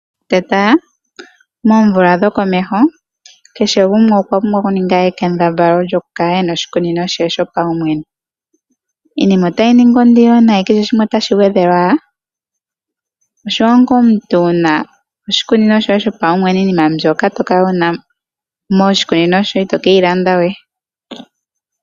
Tetala moomvula dhokomeho, kehe gumwe okwa pumbwa okuninga ekembadhalo lyokukala ena oshikunino she sho pawumwene. Iinima otayi ningi ondilo nayi kehe shimwe otashi gwedhelwa ala, oshiwa nga omuntu wuna oshikuni shoye shopawumwene iinima mbyoka tokala wuna moshikunino shoye ito keyi landa we.